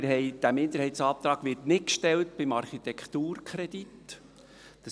Dieser Minderheitsantrag wird nicht beim Architekturkredit gestellt.